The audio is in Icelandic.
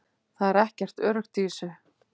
Það er ekkert öruggt í þessu